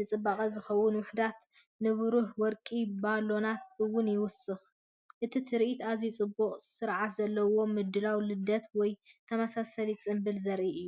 ንጽባቐ ዝኸውን ውሑዳት ንብሩህ ወርቂ ባሎናት እውን ይውሰኹ። እቲ ትርኢት ኣዝዩ ጽቡቕን ስርዓት ዘለዎን ምድላው ንልደት ወይ ተመሳሳሊ ጽምብል ዘርኢ እዩ።